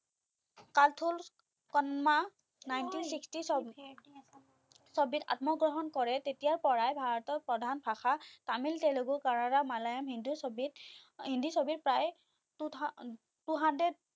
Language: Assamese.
কালথোল কন্মা nineteen sixty ছবিত আত্মগ্ৰহণ কৰে তেতিয়াৰ পৰাই ভাৰতৰ প্ৰধান ভাষা তামিল, তেলেগু, কাড়াৰা, মালায়ালম, হিন্দী ছবিত হিন্দী ছবিৰ প্ৰায়ে তোথা two hundred